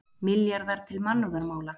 Milljarðar til mannúðarmála